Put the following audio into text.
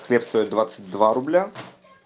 хлеб стоит двадцать два рубля